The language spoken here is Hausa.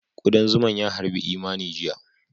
Ƙudan zuma ys harbi Imani jiya